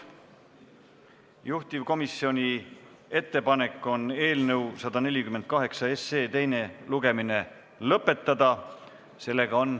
Juhtivkomisjoni ettepanek on eelnõu 148 teine lugemine lõpetada.